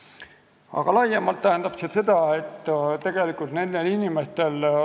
Aga laiemalt tähendab see seda, et tegelikult nendel inimestel on raske.